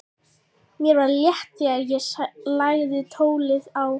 Mér var létt þegar ég lagði tólið á.